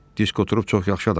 Diskotrup çox yaxşı adamdır.